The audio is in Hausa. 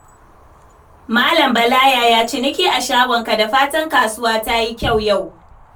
Malam Bala, yaya ciniki a shagonka? Da fatan kasuwa ta yi kyau yau.